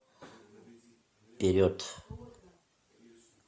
вперед